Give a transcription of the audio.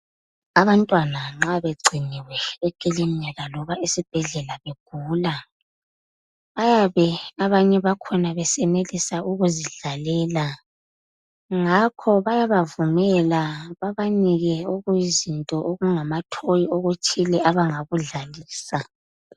Abantwana nxa begciniwe ekilinika noma esibhedlela begula, bayabe abanye bakhona besenelisa ukuzidlalela. Ngakho bayabavumela babanike okuyizinto okungama toy okuthile abangakudlalisa.